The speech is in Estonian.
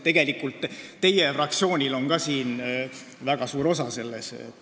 Tegelikult on ka teie fraktsioonil selles väga suur osa.